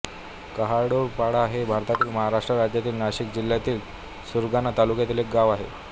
काहंडोळपाडा हे भारताच्या महाराष्ट्र राज्यातील नाशिक जिल्ह्यातील सुरगाणा तालुक्यातील एक गाव आहे